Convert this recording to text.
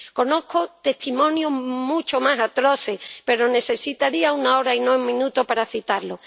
Conozco testimonios mucho más atroces, pero necesitaría una hora y no un minuto para citarlos.